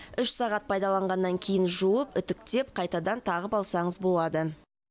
үш сағат пайдаланғаннан кейін жуып үтіктеп қайтадан тағып алсаңыз болады